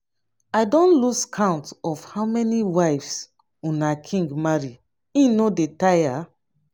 i don lose count of how many wives una king marry e no dey tire?